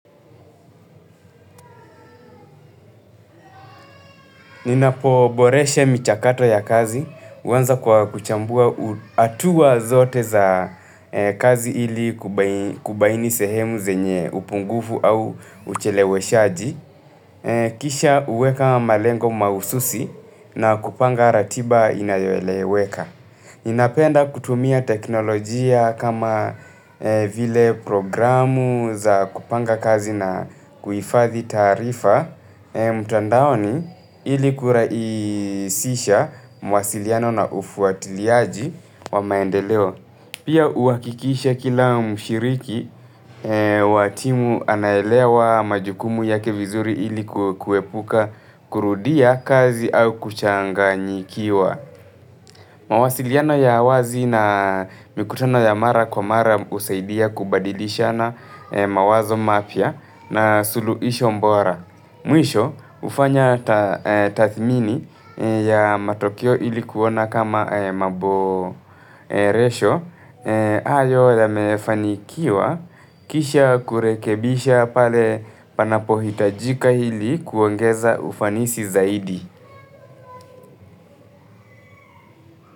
Ninapoboreshe michakato ya kazi, huwanza kwa kuchambua hatuwa zote za kazi ili kubaini sehemu zenye upungufu au ucheleweshaji, kisha uweka malengo mahususi na kupanga ratiba inayoeleweka. Ninapenda kutumia teknolojia kama vile programu za kupanga kazi na kuifadhi taarifa mtandaoni ili kuraisisha mawasiliano na ufuatiliaji wa maendeleo. Pia uwakikisha kila mshiriki wa timu anaelewa majukumu yake vizuri ili kuepuka kurudia kazi au kuchanganyikiwa. Mawasiliano ya wazi na mikutono ya mara kwa mara husaidia kubadilishana mawazo mapya na suluisho mbora. Mwisho, ufanya tathmini ya matokeo ilikuona kama maboresho. Hayo yamefanikiwa kisha kurekebisha pale panapo hitajika hili kuongeza ufanisi zaidi.